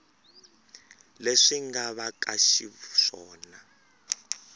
leswi nga va ka xiswona